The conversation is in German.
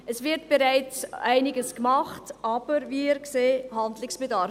Es wird bereits einiges gemacht, aber wir sehen Handlungsbedarf.